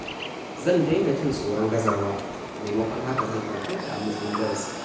Zan daina jin tsoron gazawa, maimakon haka zan ɗauke ta a matsayin darasi.